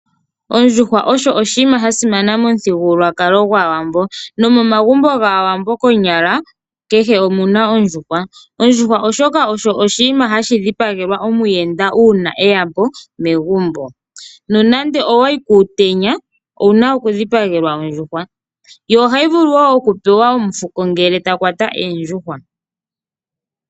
Ondjuhwa osho oshinima sha simana yomuthigululwakalo gwaawambo. Nomomagumbo gaawambo konyala kehe omu na ondjuhwa. Ondjuhwa osho oshinamwenyo hashi dhipagelwa omuyenda uuna eya po megumbo, nonando owa yi kuutenya, owu na okudhipagelwa ondjuhwa, yo ohayi vulu woo okupewa omufuko ngele ta kwata oondjuhwa.